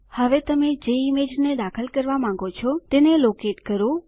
હવે તમે જે ઈમેજને દાખલ કરવા માંગો છો તેને લોકેટ સ્થાન નિર્ધારિત કરવું કરો